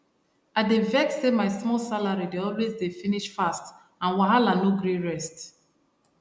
i dey vex say my small salary de always dey finish fast and wahala no gree rest